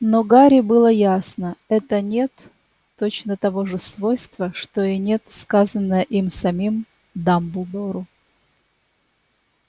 но гарри было ясно это нет точно того же свойства что и нет сказанное им самим дамблдору